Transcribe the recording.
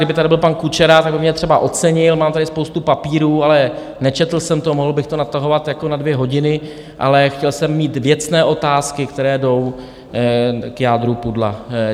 Kdyby tady byl pan Kučera, tak by mě třeba ocenil, mám tady spoustu papírů, ale nečetl jsem to, mohl bych to natahovat jako na dvě hodiny, ale chtěl jsem mít věcné otázky, které jdou k jádru pudla.